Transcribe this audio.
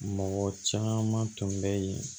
Mɔgɔ caman tun bɛ yen